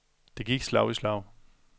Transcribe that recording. Det gik slag i slag.